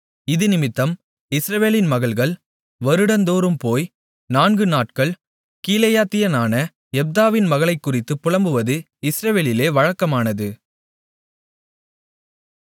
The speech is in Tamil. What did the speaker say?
இதினிமித்தம் இஸ்ரவேலின் மகள்கள் வருடந்தோறும் போய் நான்கு நாட்கள் கீலேயாத்தியனான யெப்தாவின் மகளைக்குறித்துப் புலம்புவது இஸ்ரவேலிலே வழக்கமானது